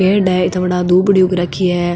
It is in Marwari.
पेड़ है इत्ता बड़ा दूबडी उग राखी है।